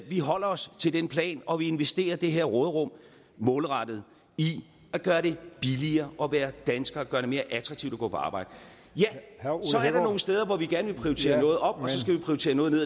vi holder os til den plan og vi investerer det her råderum målrettet i at gøre det billigere at være dansker og gør det mere attraktivt at gå på arbejde så er der nogle steder hvor vi gerne vil prioritere noget op og så skal vi prioriterer noget ned